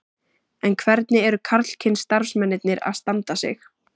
En hvernig eru karlkyns starfsmennirnir að standa sig?